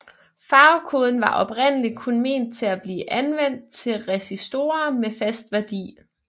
Farvekoden var oprindelig kun ment til at blive anvendt til resistorer med fast værdi